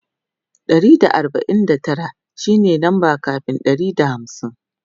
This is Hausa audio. Ɗari da arbain da Tara shine lamba kamin Ɗari da hamsin